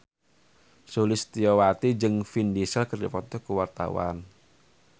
Sulistyowati jeung Vin Diesel keur dipoto ku wartawan